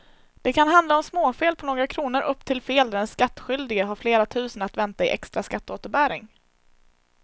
Det kan handla om småfel på några kronor upp till fel där den skattskyldige har flera tusen att vänta i extra skatteåterbäring.